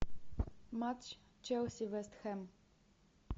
матч челси вест хэм